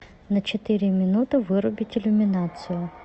на четыре минуты вырубить иллюминацию